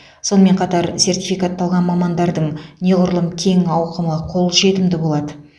сонымен қатар сертификатталған мамандардың неғұрлым кең ауқымы қолжетімді болады